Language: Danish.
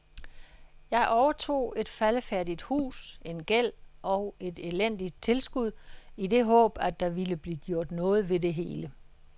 Jeg overtog et faldefærdigt hus, en gæld og et elendigt tilskud i det håb, at der ville blive gjort noget ved det hele.